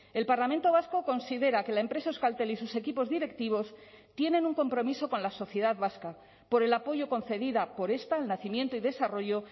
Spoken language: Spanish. el parlamento vasco considera que la empresa euskaltel y sus equipos directivos tienen un compromiso con la sociedad vasca por el apoyo concedida por esta el nacimiento y desarrollo